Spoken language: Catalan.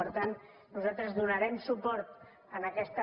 per tant nosaltres donarem suport a aquesta